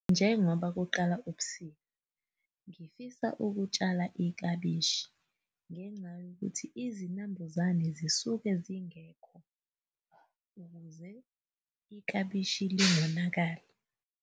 Njengoba kuqala ubusika, ngifisa ukutshala iklabishi ngenxa yokuthi izinambuzane zisuke zingekho ukuze iklabishi lingonakali.